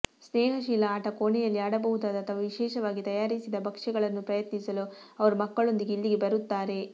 ಸ್ನೇಹಶೀಲ ಆಟ ಕೋಣೆಯಲ್ಲಿ ಆಡಬಹುದಾದ ಅಥವಾ ವಿಶೇಷವಾಗಿ ತಯಾರಿಸಿದ ಭಕ್ಷ್ಯಗಳನ್ನು ಪ್ರಯತ್ನಿಸಲು ಅವರು ಮಕ್ಕಳೊಂದಿಗೆ ಇಲ್ಲಿಗೆ ಬರುತ್ತಾರೆ